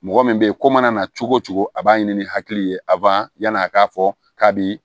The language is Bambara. Mɔgɔ min bɛ ye ko mana na cogo o cogo a b'a ɲini ni hakili ye yan'a k'a fɔ k'a bi